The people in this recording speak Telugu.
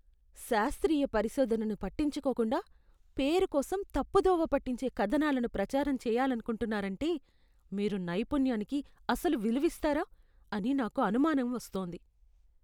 శాస్త్రీయ పరిశోధనను పట్టించుకోకుండా, పేరు కోసం తప్పుదోవ పట్టించే కథనాలను ప్రచారం చేయాలనుకుంటున్నారంటే, మీరు నైపుణ్యానికి అసలు విలువిస్తారా అని నాకు అనుమానం వస్తోంది.